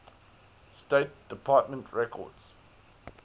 state department records